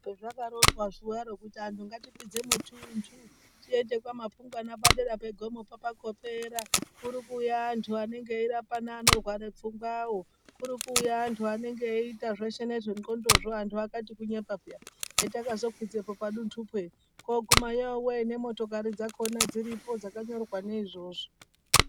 Pezvakaronzwa zuwaro kuti anhu ngatikwidze mutuntu tiende kwaMapungwana padera pegomopo pakopera, kuti kuuya antu anenge eirapa neanorware pfungwawo. Kuri kuuya antu anenge eyiita nezve nxondozvo. Ndaiti kunyepa peya, petakazokwidzepo paduntupo ere kuguma yowe nemotokari dziripo dzakanyorwa neizvozvo